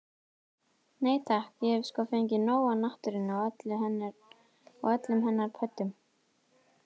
Nei takk, ég hef sko fengið nóg af náttúrunni og öllum hennar pöddum.